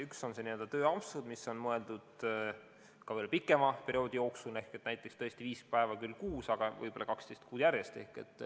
Üks on n-ö tööampsud, mis on mõeldud ka pikema perioodi jooksul ehk tõesti näiteks viis päeva kuus, aga võib-olla 12 kuud järjest.